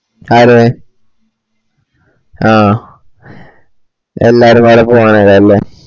ആരെ ആഹ് എല്ലാരും നാളെ പോകാനാലേ